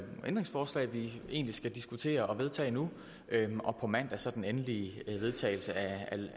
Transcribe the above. ændringsforslag vi egentlig skal diskutere og vedtage nu og på mandag så den endelige vedtagelse af